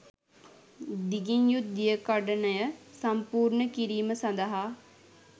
දිගින් යුත් දියකඩනය සම්පූර්ණ කිරීම සඳහා